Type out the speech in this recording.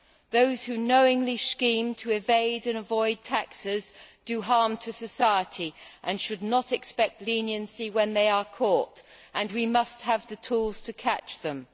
Those who knowingly scheme to evade and avoid taxes do harm to society and should not expect leniency when they are caught, and we must have the tools to catch them.